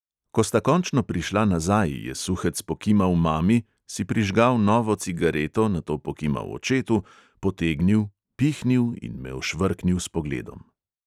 Ko sta končno prišla nazaj, je suhec pokimal mami, si prižgal novo cigareto, nato pokimal očetu, potegnil, pihnil in me ošvrknil s pogledom.